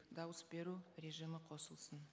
дауыс беру режимі қосылсын